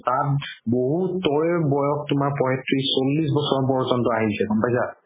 তাত বহুতৰে বয়স তুমাৰ পঁয়ত্ৰিশ চল্লিশ বছৰ প্ৰয়োজন্ত আহিছে গ'ম পাইছা